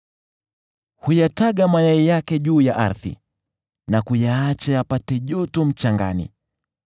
Huyataga mayai yake juu ya ardhi, na kuyaacha yapate joto mchangani,